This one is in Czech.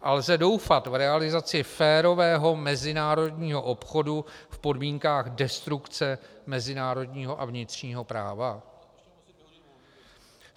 A lze doufat v realizaci férového mezinárodního obchodu v podmínkách destrukce mezinárodního a vnitřního práva?